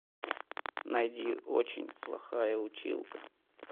найди очень плохая училка